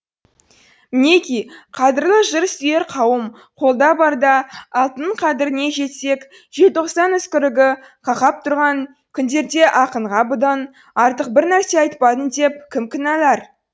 мінеки қадірлі жыр сүйер қауым қолда барда алтынның қадіріне жетсек желтоқсан үскірігі қақап тұрған күндерде ақынға бұдан артық бір нәрсе айтпадың деп кім кінәлар